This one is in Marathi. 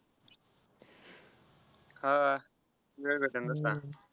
हा वेळ भेटेल तसा.